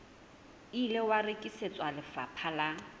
ile wa rekisetswa lefapha la